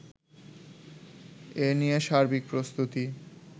এ নিয়ে সার্বিক প্রস্তুতি